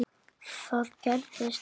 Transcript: Það gerðist ekki.